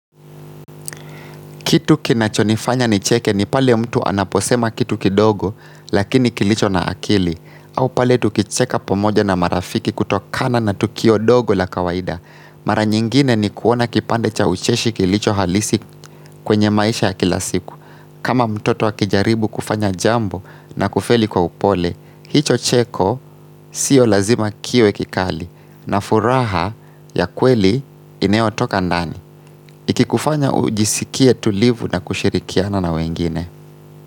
Kitu kinachonifanya nicheke ni pale mtu anaposema kitu kidogo lakini kilicho na akili au pale tukicheka pomoja na marafiki kutokana na tukio dogo la kawaida Mara nyingine ni kuona kipande cha ucheshi kilicho halisi kwenye maisha ya kilasiku kama mtoto akijaribu kufanya jambo na kufeli kwa upole hicho cheko siyo lazima kiwe kikali na furaha ya kweli inayo toka ndani kikufanya ujisikie tulivu na kushirikiana na wengine.